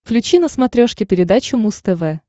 включи на смотрешке передачу муз тв